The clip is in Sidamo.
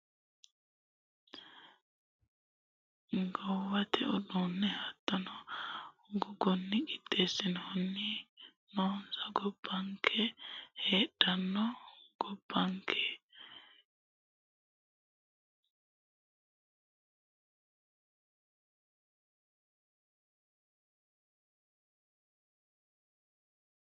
Gobbanke heedhanno daga dagoomu Insano gonfu hiito darabatu seemma ayimmansa xawisanno wogate uddanna hattono gogunni qixxeessinanniri noonsa Gobbanke heedhanno Gobbanke.